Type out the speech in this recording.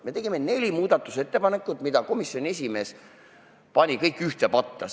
Me tegime neli muudatusettepanekut, mis komisjoni esimees pani kõik ühte patta.